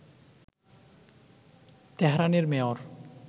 তেহরানের মেয়র